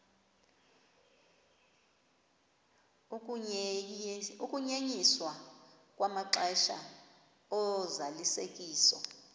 ukunyenyiswa kwamaxesha ozalisekiso